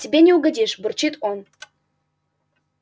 тебе не угодишь бурчит он